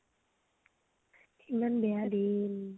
ইমান বেয়া দিন